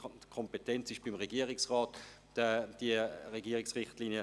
die Kompetenz, diese Richtlinien zu erlassen, liegt beim Regierungsrat.